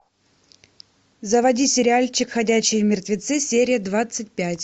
заводи сериальчик ходячие мертвецы серия двадцать пять